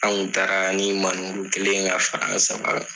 An' ŋu taaraa ni manewuru kelen ye k'a fara an' saba kan.